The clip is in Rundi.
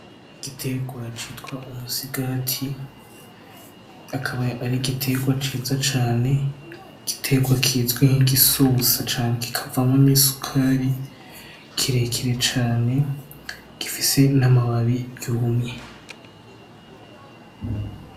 Igitegwa citwa umusigati. Akaba ar'igitegwa ciza cane igitegwa kizwi nkigisosa cane kikavamwo n'isukari kirekire cane gifise n'amababi yumye.